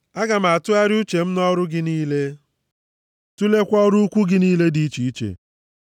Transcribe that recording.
Aga m atụgharịa uche m nʼọrụ gị niile, tuleekwa ọrụ ukwuu gị niile dị iche iche.”